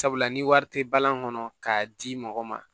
Sabula ni wari te balan kɔnɔ k'a di mɔgɔ ma